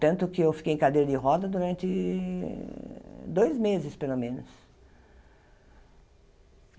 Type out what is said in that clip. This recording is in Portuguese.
Tanto que eu fiquei em cadeira de roda durante dois meses, pelo menos.